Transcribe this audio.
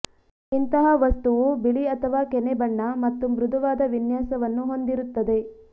ಇಂತಹ ವಸ್ತುವು ಬಿಳಿ ಅಥವಾ ಕೆನೆ ಬಣ್ಣ ಮತ್ತು ಮೃದುವಾದ ವಿನ್ಯಾಸವನ್ನು ಹೊಂದಿರುತ್ತದೆ